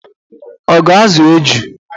Ọ ga-azụ eju?